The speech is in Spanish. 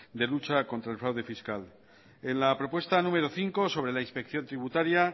de lucha contra el fraude fiscal en la propuesta número cinco sobre la inspección tributaria